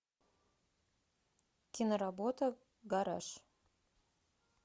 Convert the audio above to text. киноработа гараж